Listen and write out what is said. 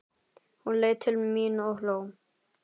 Hún leit til mín og hló.